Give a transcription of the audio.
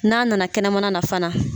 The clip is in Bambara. N'a nana kɛnɛmana na fana.